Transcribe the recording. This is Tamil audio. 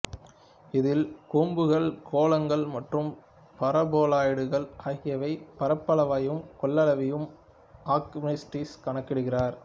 இதில் கூம்புகள் கோளங்கள் மற்றும் பாரபோலாய்டுகள் ஆகியவையின் பரப்பளவையும் கொள்ளளவையும் ஆர்கிமிடிஸ் கணக்கிடுகிறார்